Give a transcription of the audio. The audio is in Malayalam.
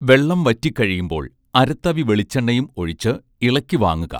വെള്ളം വറ്റി കഴിയുമ്പോൾ അര തവി വെളിച്ചെണ്ണയും ഒഴിച്ച് ഇളക്കി വാങ്ങുക